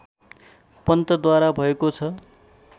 पन्तद्वारा भएको छ